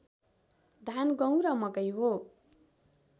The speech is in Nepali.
धान गुहँ र मकै हो